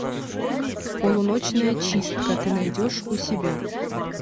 полуночная чистка ты найдешь у себя